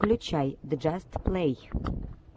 включай джаст плэй